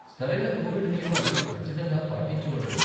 సరైన కోవిడ్ నియమాలు ఖచ్చితంగా పాటించి ఉండరు.